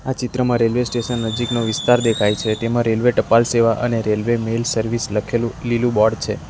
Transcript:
ચિત્રમાં railway station નજીકનો વિસ્તાર દેખાય છે તેમાં રેલ્વે ટપાલ સેવા અને રેલવે મેલ સર્વિસ લખેલું લીલું બોર્ડ છે.